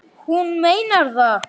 Hún meinar það.